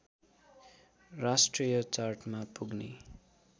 राष्ट्रिय चार्टमा पुग्ने